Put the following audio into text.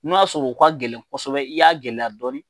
N'u y'a sɔrɔ u ka gɛlɛn kosɛbɛ, i y'a gɛlɛya dɔɔni